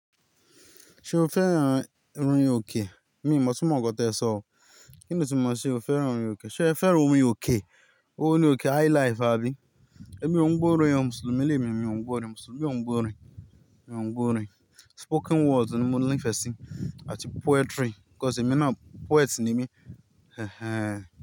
Ṣé o fẹ́ran rin òkè? Miì mọ̀ túmọ̀ nǹkan tẹ́ẹ sọ, kí ni túmọ̀ mọ̀ ṣé o fẹ́ran rin òkè. Ṣẹ́ẹ fẹ́ràn orin òkè? Orin òkè highlife àbí? Ẹ̀mí ò ń gbọ́ orin ọmọ Mùsùlùmí, emí ò ń gbórin, Mùsùlùmí ò ń gbórin, mi ò ń gbórin. Spoken words ni mo nífẹ̀ẹ́ sí àti poetry because emi náà poet ni ẹ́mí. Ẹ̀ ẹẹ̀n.